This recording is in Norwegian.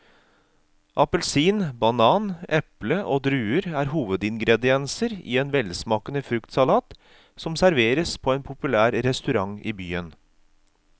Appelsin, banan, eple og druer er hovedingredienser i en velsmakende fruktsalat som serveres på en populær restaurant i byen.